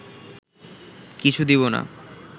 কিছু দিব না